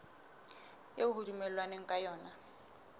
eo ho dumellanweng ka yona